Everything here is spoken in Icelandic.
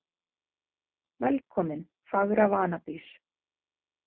Velkomin, fagra vanadís